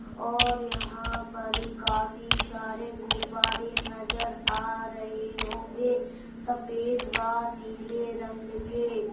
और यहाँ पर काफी सारे गुब्बारे नजर आ रहे होंगे सफेद व नीले रंग के।